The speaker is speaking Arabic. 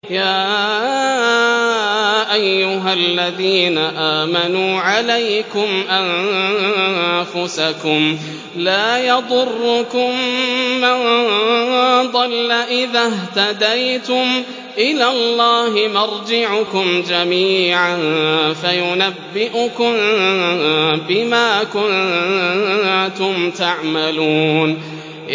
يَا أَيُّهَا الَّذِينَ آمَنُوا عَلَيْكُمْ أَنفُسَكُمْ ۖ لَا يَضُرُّكُم مَّن ضَلَّ إِذَا اهْتَدَيْتُمْ ۚ إِلَى اللَّهِ مَرْجِعُكُمْ جَمِيعًا فَيُنَبِّئُكُم بِمَا كُنتُمْ تَعْمَلُونَ